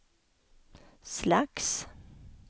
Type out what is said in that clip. slags